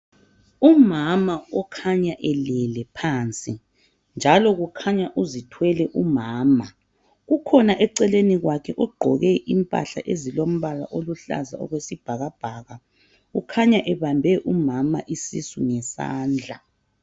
Umama okhanya elele phansi njalo kukhanya uzithwele umama. Kukhona eceleni kwakhe ogqoke impahla ezilombala oluhlaza okwesibhakabhaka ukhanya ebambe umama isisu ngesandla.